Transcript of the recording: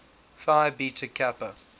phi beta kappa